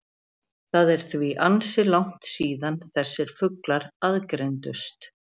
Það er því ansi langt síðan þessir fuglar aðgreindust.